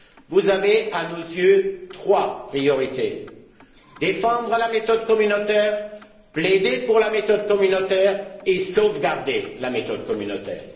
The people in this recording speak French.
Vous avez à nos yeux trois priorités défendre la méthode communautaire, plaider pour la méthode communautaire et sauvegarder la méthode communautaire.